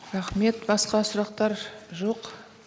рахмет басқа сұрақтар жоқ